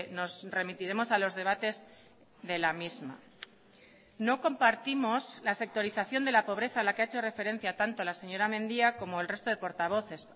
nos remitiremos a los debates de la misma no compartimos la sectorización de la pobreza a la que ha hecho referencia tanto la señora mendia como el resto de portavoces